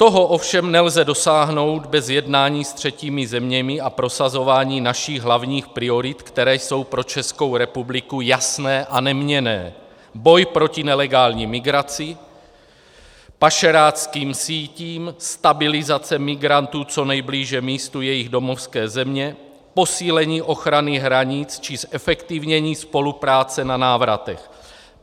Toho ovšem nelze dosáhnout bez jednání s třetími zeměmi a prosazování našich hlavních priorit, které jsou pro Českou republiku jasné a neměnné - boj proti nelegální migraci, pašeráckým sítím, stabilizace migrantů co nejblíže místu jejich domovské země, posílení ochrany hranic či zefektivnění spolupráce na návratech.